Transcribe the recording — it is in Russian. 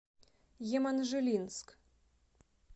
еманжелинск